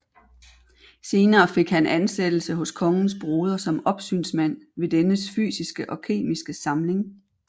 Senere fik han ansættelse hos kongens broder som opsynsmand ved dennes fysiske og kemiske samling